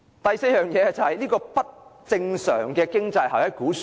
第四個原因是不正常的經濟效益估算。